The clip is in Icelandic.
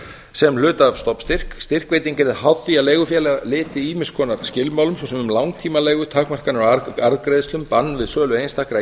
sem hluta af stofnstyrk styrkveiting yrði háð því að leigufélag lyti ýmiss konar skilmálum svo sem um langtíma leigu takmarkanir á arðgreiðslum bann við sölu einstakra